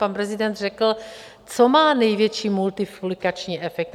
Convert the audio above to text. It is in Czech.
Pan prezident řekl: co má největší multiplikační efekt?